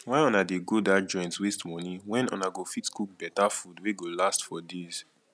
why una dey go dat joint waste money wen una go fit cook beta food wey go last for days